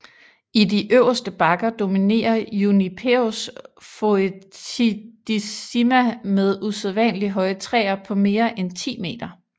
I de øverste bakker dominerer Juniperus foetidissima med usædvanlig høje træer på mere end 10 meter